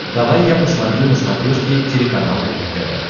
давай я посмотрю на смотрешке телеканал рубль тв